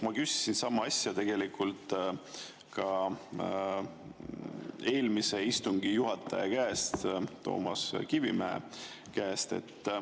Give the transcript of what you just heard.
Ma küsisin sama asja tegelikult ka eelmise istungi juhataja käest, Toomas Kivimägi käest.